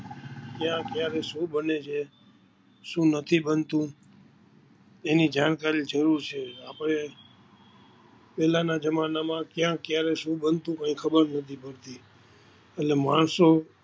કયા ક્યારે શું બને છે શું નથી બનતું તેની જાણકારી જરૂર છે, આપણે પેલા ના જમાના માં કયા કયારે શું બનતું કઈ ખબર નથી પડતી, એટલે માણસો,